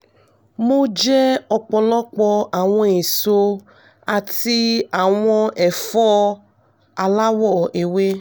mo jẹ ọ̀pọ̀lọpọ̀ àwọn èso àti àwọn ẹfọ aláwọ̀ ewé